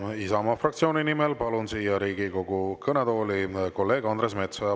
Ja Isamaa fraktsiooni nimel palun Riigikogu kõnetooli kolleeg Andres Metsoja.